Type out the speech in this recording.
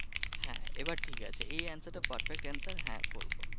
হ্যাঁ এইবার ঠিক আছে এই answer টা পারফেক্ট answer